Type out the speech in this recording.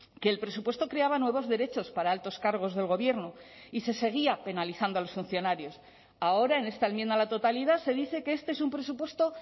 que el presupuesto creaba nuevos derechos para altos cargos del gobierno y se seguía penalizando a los funcionarios ahora en esta enmienda a la totalidad se dice que este es un presupuesto